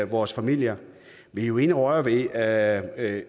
vores familier vi er jo inde at røre ved at